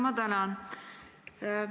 Ma tänan!